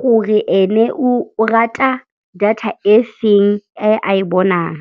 gore ene o rata data e feng, e a e bonang.